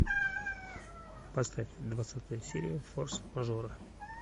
поставь двадцатая серия форс мажора